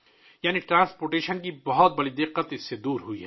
یعنی ٹرانسپورٹیشن کا بڑا مسئلہ اس سے دور ہو گیا ہے